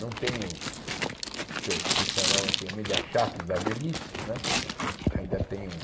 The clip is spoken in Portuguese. Não tenho o que eu chi chamava antigamente de achaques da velhice né ainda tenho.